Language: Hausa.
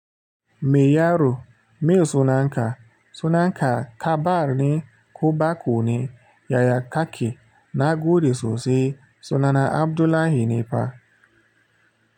Mai yaro mai suna n ka? Sunan ka kabar ne ko baƙo ne. Yaya kake? Na gode sosai suna na Abdullahi ne fa.